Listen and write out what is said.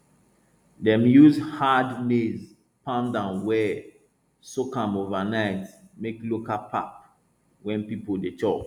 dem use hard maize pound am well soak am overnight make local pap wey people dey chop